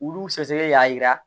Olu sɛgɛsɛgɛli y'a yira